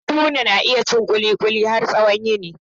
Haruna na iya cin kulikuli har tsawon yini.